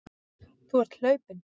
Þú ert hlaupinn.